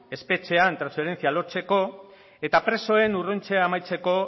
espetxean transferentzia lortzeko eta presoen urruntzea amaitzeko